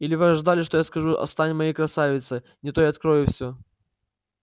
или вы ожидали что я скажу стань моей красавица не то я открою всё